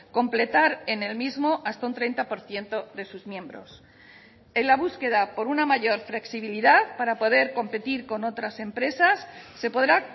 completar en el mismo hasta un treinta por ciento de sus miembros en la búsqueda por una mayor flexibilidad para poder competir con otras empresas se podrá